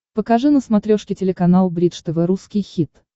покажи на смотрешке телеканал бридж тв русский хит